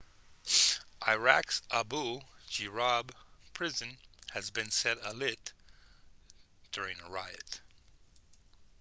iraq's abu ghraib prison has been set alight during a riot